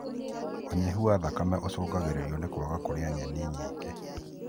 ũnyihu wa thakame ũcungagĩrĩrio nĩ kwaga kũrĩa nyeni nyingĩ